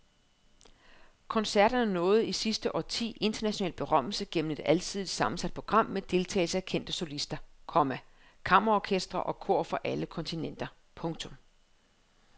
Koncerterne nåede i sidste årti international berømmelse gennem et alsidigt sammensat program med deltagelse af kendte solister, komma kammerorkestre og kor fra alle kontinenter. punktum